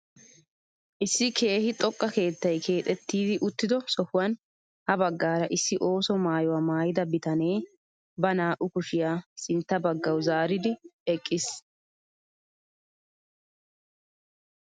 Issi keehi xoqqa keettay keexettidi uttido sohuwaan ha baggaara issi ooso maayuwaa maayida bitanee ba naa"u kushiyaa sintta baggawu zaaridi eqqiis!